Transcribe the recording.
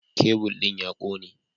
Kebul ɗin ya kone